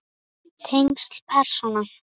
Tengsl persóna